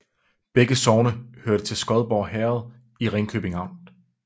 Begge sogne hørte til Skodborg Herred i Ringkøbing Amt